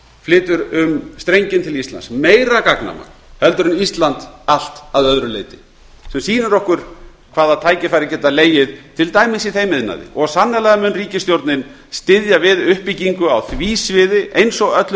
flytur um strenginn til íslands meira gagnamagn en ísland allt að öðru leyti sem sýnir okkur hvaða tækifæri geta legið til dæmis í þeim iðnaði og sannarlega mun ríkisstjórnin styðja við uppbyggingu á því sviði eins og öllum